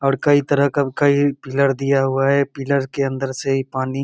और कई तरह का कई पिलर दिया हुआ है पिलर के अंदर से इ पानी --